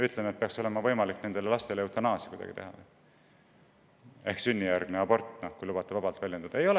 Ütleme, et neid lapsi peaks saama kuidagi eutaneerida ehk sünnijärgselt abortida, kui lubate vabalt väljendada?